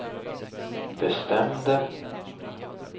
bestämde